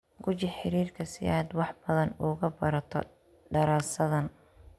Guji xiriirka si aad wax badan uga barato daraasaddan.